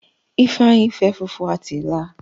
Ifeanyi fẹ fufu àti ila